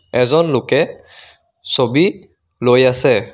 এজন লোকে ছবি লৈ আছে।